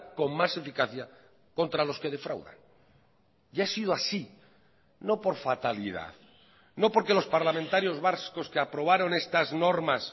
con más eficacia contra los que defraudan y ha sido así no por fatalidad no por que los parlamentarios vascos que aprobaron estas normas